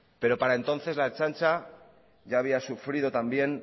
pero para entonces la ertzaintza ya había sufrido también